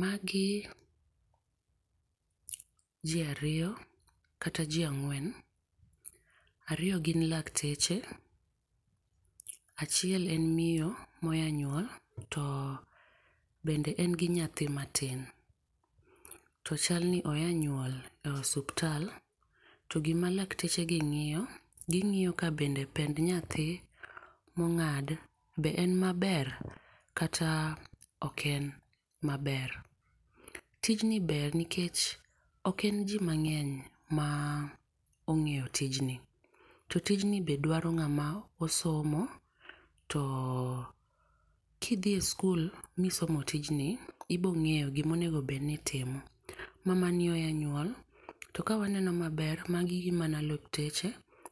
Ma gi ji ariyo kata ji angwen, ariyo gin lakteche, achiel en miyo ma oya nyuol to be en gi nyathi ma tin. To chal ni oya nyuol e osiptal to gi ma lakteche gi ngiyo gi ngiyo ka bende pend nyathi ma ongad to be en ma ber kata ok en ma ber. Tijni ni ber nikech ok en ji mang'eny ma ongeyo tijni. Tijni be dwaro ng'ama osomo to ki dhi skul mi somo tijin ibo ng'eyo gi ma onego bed ni itimo. Mama ni onyuol to ka waneno ma ber magi gin mana lakteche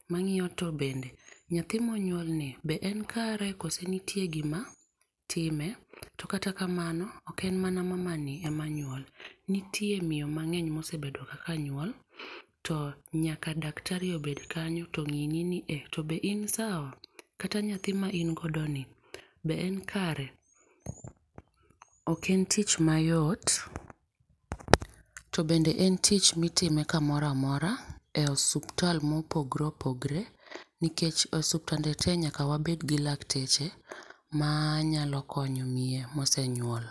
ma ng'iyo to bende nyathi ma onyuol ni be en kare koso nitie gi ma time to kata kamano ok en mana mama ni ema nyuol, nitie miyo mangeny ma osebedo ga kanyuol to nyaka daktari obed kanyo to oneni ni e to be in sawa, kata nyathi ma in godo ni be en kare. Ok en tich ma yot to bende en tich mi itime ka moro amora e osiptal ma opogore opogore nikech osiptende te nyaka wabed gi lakteche ma nyalo konyo miyo ma osenyuol.